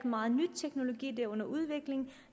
meget ny teknologi den er under udvikling